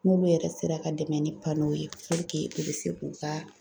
N'olu yɛrɛ sera ka dɛmɛ ni pano ye i bɛ se k'u ka